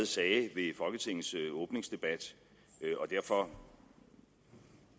sagde ved folketingets åbningsdebat og derfor